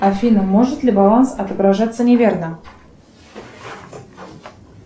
афина может ли баланс отображаться неверно